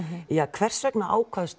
hvers vegna